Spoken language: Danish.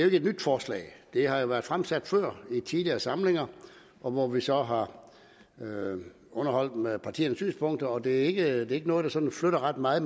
ikke et nyt forslag det har jo været fremsat før i tidligere samlinger hvor vi så har underholdt med partiernes synspunkter og det er ikke noget der sådan flytter ret meget